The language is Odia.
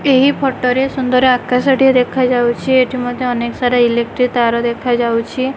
ଏହି ଫଟୋ ରେ ସୁନ୍ଦର୍ ଆକାଶ ଟିଏ ଦେଖାଯାଉଅଛି ଏଠି ମଧ୍ୟ ଅନେକ ସାରା ଇଲେଟ୍ରି ତାର ଦେଖାଯାଉଅଛି।